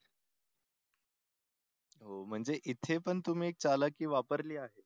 हो म्हणजे इथे पण तुम्ही चालाखी वापरली आहे.